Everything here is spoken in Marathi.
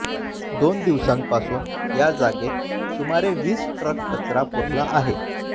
दोन दिवसांपासून या जागेत सुमारे वीस ट्रक कचरा पुरला आहे